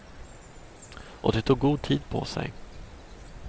Och de tog god tid på sig.